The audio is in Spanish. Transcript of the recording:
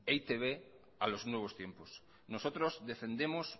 e i te be a los nuevos tiempos nosotros defendemos